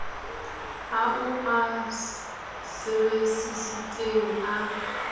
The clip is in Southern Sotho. ao o a sebesisitseng a